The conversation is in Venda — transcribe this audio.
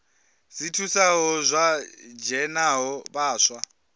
dzi thusaho vha dzhenaho vhaswa